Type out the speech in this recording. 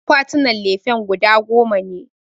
Akwatinan lefen guda goma ne